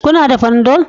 Kuna da Panadol?